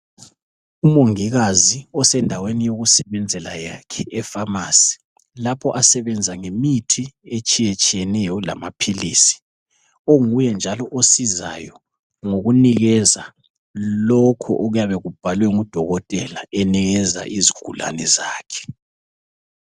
Umongikazi osendaweni yokusebenzela yakhe, epharmacy. Lapho asebenza ngemithi, etshiyetshiyeneyo, lamaphilisi. Onguye njalo osizayo, ngokunikeza, lokho okuyabe kubhalwe ngudokotela. Enikeza izigulane zakhe.